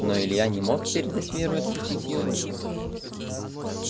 но илья не мог передать веру и отпустить её руку